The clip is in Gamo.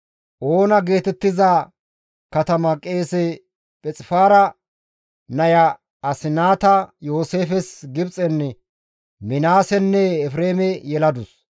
Oona geetettiza katama qeese Phixifaara naya Asinaata Yooseefes Gibxen Minaasenne Efreeme yeladus.